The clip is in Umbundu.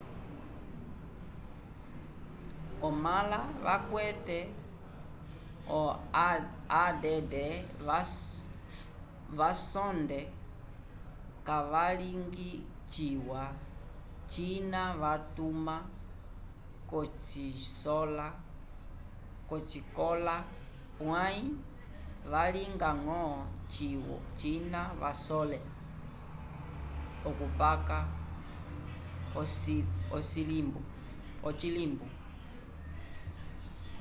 omala vacwete o add vosonde cavaligi ciwa cina vatuma cosicola pwaym valinga ngo cina vasole okucapa ocilimbu